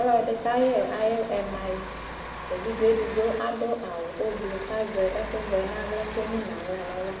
Ɔlɔdɩ kayɛ ayʋ ɛmayɩ:evidzedigbo adʋ awʋ ʋblʋ k'azɛ ɛkʋvɛ n'aɣla k'emu n'aɣla n'ava c;